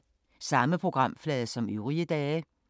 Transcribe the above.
Samme programflade som øvrige dage